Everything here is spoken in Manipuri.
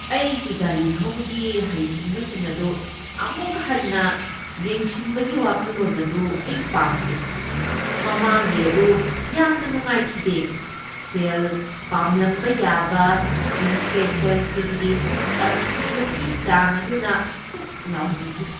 ꯑꯩꯒꯤ ꯒꯥꯔꯤ ꯊꯧꯕꯒꯤ ꯍꯩꯁꯤꯡꯕꯁꯤꯡ ꯑꯗꯨ ꯑꯃꯨꯛ ꯍꯟꯅ ꯌꯦꯡꯁꯤꯟꯕꯒꯤ ꯋꯥꯈꯜꯂꯣꯟ ꯑꯗꯨ ꯑꯩ ꯄꯥꯝꯗꯦ꯫ ꯃꯃꯥꯡꯒꯤ ꯑꯗꯨ ꯌꯥꯝꯅ ꯅꯨꯡꯉꯥꯏꯈꯤꯗꯦ꯫ ꯁꯦꯜ ꯄꯥꯝꯂꯝꯕ ꯌꯥꯕ ꯏꯟꯁꯄꯦꯛꯇꯔꯁꯤꯡꯒꯤ ꯇꯝꯊꯤꯕꯒꯤ ꯆꯥꯡ ꯑꯗꯨꯅ ꯊꯨꯛ ꯂꯥꯎꯍꯟꯈꯤ꯫